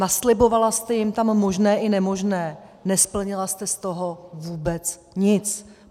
Naslibovala jste jim tam možné i nemožné, nesplnila jste z toho vůbec nic.